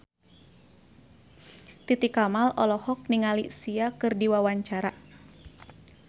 Titi Kamal olohok ningali Sia keur diwawancara